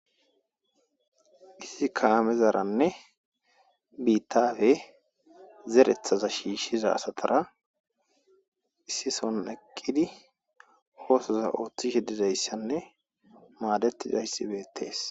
Issi kaamezarane biitappe zereththaza shishsiza asay oththoza othishe diizaysine maadetishe dizays bettes.